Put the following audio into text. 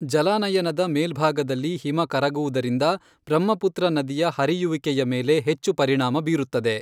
ಜಲಾನಯನದ ಮೇಲ್ಭಾಗದಲ್ಲಿ ಹಿಮ ಕರಗುವುದರಿಂದ ಬ್ರಹ್ಮಪುತ್ರ ನದಿಯ ಹರಿಯುವಿಕೆಯ ಮೇಲೆ ಹೆಚ್ಚು ಪರಿಣಾಮ ಬೀರುತ್ತದೆ.